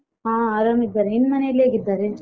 ಹಾ ಆರಾಮ್ ಇದ್ದಾರೆ ನಿನ್ ಮನೇಲಿ ಹೇಗಿದ್ದಾರೆ?